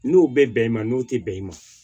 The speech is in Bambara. N'o bɛ bɛn i ma n'o tɛ bɛn i ma